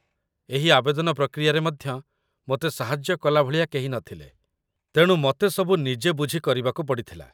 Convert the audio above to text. ଏହି ଆବେଦନ ପ୍ରକ୍ରିୟାରେ ମଧ୍ୟ ମତେ ସାହାଯ୍ୟ କଲା ଭଳିଆ କେହି ନଥିଲେ, ତେଣୁ ମତେ ସବୁ ନିଜେ ବୁଝି କରିବାକୁ ପଡ଼ିଥିଲା